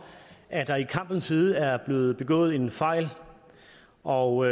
at der i kampens hede er blevet begået en fejl og